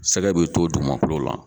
Sɛgɛ be to dugumakolo la